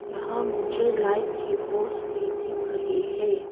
यहां मुझे लाइट की पोल्स भी दिख रही है।